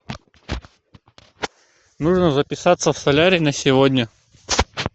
нужно записаться в солярий на сегодня